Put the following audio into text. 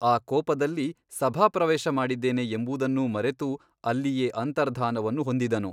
ಆ ಕೋಪದಲ್ಲಿ ಸಭಾಪ್ರವೇಶಮಾಡಿದ್ದೇನೆ ಎಂಬುದನ್ನೂ ಮರೆತು ಅಲ್ಲಿಯೇ ಅಂತರ್ಧಾನವನ್ನು ಹೊಂದಿದನು.